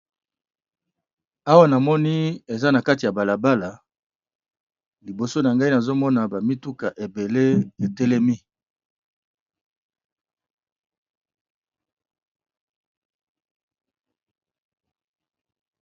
Awa namoni eza na katikati ya balabala liboso nangai nazomona ba mituka ebele etelemi.